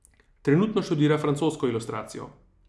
Trenutno študira francosko ilustracijo.